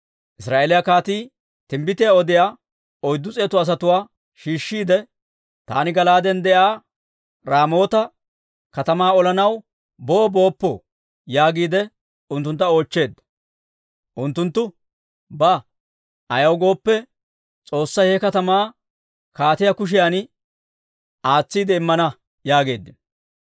Israa'eeliyaa kaatii timbbitiyaa odiyaa oyddu s'eetu asatuwaa shiishshiide, «Taani Gala'aaden de'iyaa Raamoota katamaa olanaw boo booppoo?» yaagiide unttuntta oochcheedda. Unttunttu, «Ba; ayaw gooppe, S'oossay he katamaa kaatiyaa kushiyan aatsiide immana» yaageeddino.